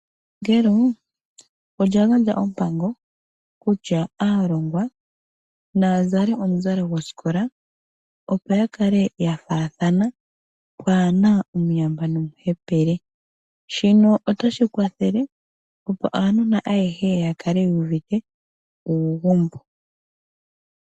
Epangelo lya gandja ompango kutya aalongwa naya zale omuzalo gosikola, opo ya kale ya faathana pwaa na omuyamba nomuhepele. Shino otashi kwathele, opo aanona ayehe ya kale yu uvite uugumbo.